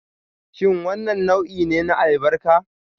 Shin wannan nau'i ne na albarka?